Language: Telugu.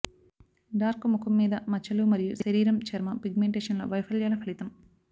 డార్క్ ముఖం మీద మచ్చలు మరియు శరీరం చర్మం పిగ్మెంటేషన్ లో వైఫల్యాల ఫలితం